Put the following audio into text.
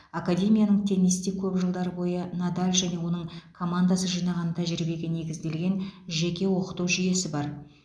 академияның теннисте көп жылдар бойы надаль және оның командасы жинаған тәжірибеге негізделген жеке оқыту жүйесі бар